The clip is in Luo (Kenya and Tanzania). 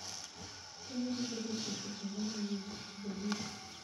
Konyogi bedo osiepe kendo miyo winjruok obedie.